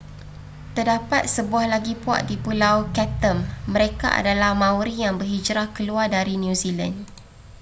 terdapat sebuah lagi puak di pulau chatham mereka adalah maori yang berhijrah keluar dari new zealand